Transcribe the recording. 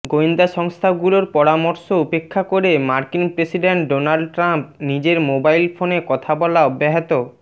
গোয়েন্দা সংস্থাগুলোর পরামর্শ উপেক্ষা করে মার্কিন প্রেসিডেন্ট ডোনাল্ড ট্রাম্প নিজের মোবাইল ফোনে কথা বলা অব্যাহত